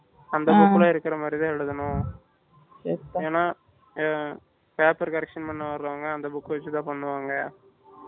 அந்த book ல இருக்குற மாதிரி தான் எழுதணும் ஏன்னா paper correction பண்ண வரவங்க அந்த book வச்சி தான் பண்ணுவாங்க